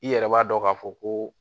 I yɛrɛ b'a dɔn k'a fɔ ko